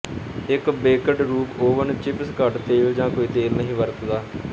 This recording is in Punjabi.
ਇੱਕ ਬੇਕਡ ਰੂਪ ਓਵਨ ਚਿਪਸ ਘੱਟ ਤੇਲ ਜਾਂ ਕੋਈ ਤੇਲ ਨਹੀਂ ਵਰਤਦਾ